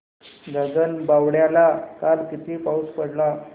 गगनबावड्याला काल किती पाऊस पडला